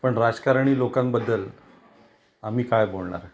पण राजकारणी लोकांन बद्दल आम्ही काय बोलणार.